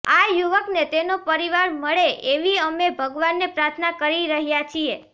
આ યુવકને તેનો પરિવાર મળે એવી અમે ભગવાને પ્રાર્થના કરી રહ્યા છીએ